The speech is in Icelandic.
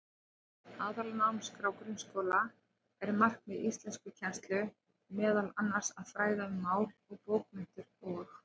Samkvæmt Aðalnámskrá grunnskóla er markmið íslenskukennslu meðal annars að fræða um mál og bókmenntir og.